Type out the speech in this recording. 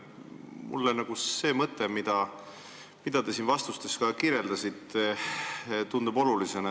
Mulle tundub oluline see mõte, mida te siin vastustes ka kirjeldasite.